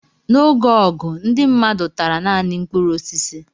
N'oge ọgụ, ndị mmadụ tara naanị mkpụrụ osisi.